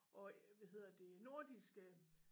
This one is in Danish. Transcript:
Og hvad hedder det nordiske